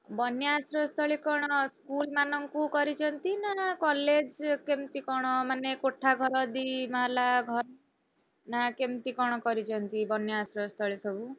ବନ୍ୟା ଆଶ୍ରୟ ସ୍ଥଳୀ କଣ school ମାନଙ୍କୁ କରିଛନ୍ତି ନା college କେମିତି କଣ ମାନେ କୋଠା ଘର ଦି ମହଲା ଘର? ନା କେମତି କଣ କରିଛନ୍ତି ବନ୍ୟା ଆଶ୍ରୟସ୍ଥଳୀ ସବୁ?